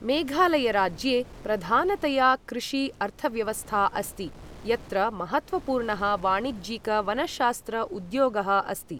मेघालय राज्ये प्रधानतया कृषि अर्थव्यवस्था अस्ति, यत्र महत्त्वपूर्णः वाणिज्यिक वनशास्त्र उद्योगः अस्ति।